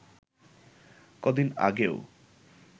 কদিন আগেও